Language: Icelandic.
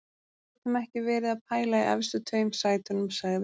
Við getum ekki verið að pæla í efstu tveim sætunum, sagði Einar.